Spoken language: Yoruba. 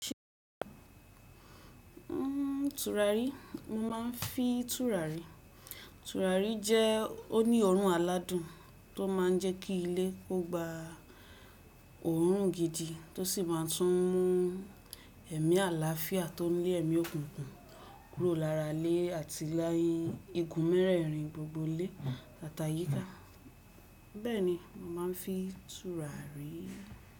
Tùràrí, mo mà ń fín tùràrí. Tùràrí jẹ́- oní òórùn aládùn tó máa n jẹ́ ki ilé kó gba òórùn gidi, tó sì máa tún mú ẹ̀mí àlàáfíá tó ń le ẹ̀mí òkùnkùn kúrò lára ilé àti ní igun mẹ́rẹ̀rin gbogbo ilé àti àyíká. Bẹ́ẹ̀ni, mo máa ń fí túrà rí.